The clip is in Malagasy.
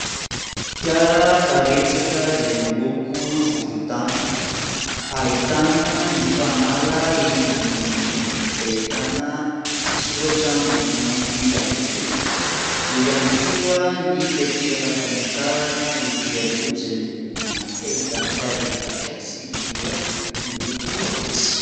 Fiara karetsaka izay miloko volontany ; ahitana ny fanala eny ambony eny, izay ahitana soratra miloko mainty ihany koa. Eo ihany koa ny takelaka famantarana ety aloha izay miloko mainty ahitana tarehimarika sy litera miloko fotsy.